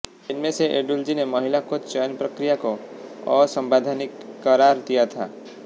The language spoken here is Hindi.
इनमें से एडुल्जी ने महिला कोच चयन प्रक्रिया को असवैंधानिक करार दिया था